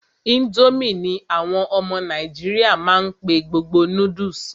Ińdómì ní àwọn ọmọ nàìjíríà má n pé gbogbo noodles.